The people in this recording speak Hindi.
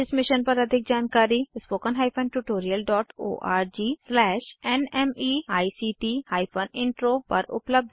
इस मिशन पर अधिक जानकारी httpspoken tutorialorgNMEICT Intro पर उपलब्ध है